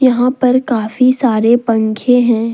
यहां पर काफी सारे पंखे हैं।